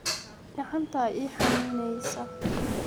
Kacanta iixanuneysa.